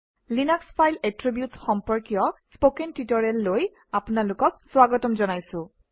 Linux file এট্ৰিবিউটচ সম্পৰ্কীয় spoken টিউটৰিয়েললৈ স্বাগতম জনাইছোঁ